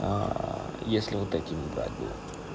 если вот эти мы брать будем